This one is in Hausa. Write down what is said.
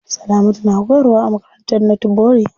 Salamatu na koyarwa a makarantar northbury.